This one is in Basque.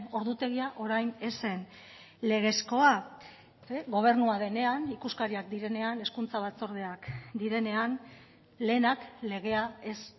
ordutegia orain ez zen legezkoa gobernua denean ikuskariak direnean hezkuntza batzordeak direnean lehenak legea ez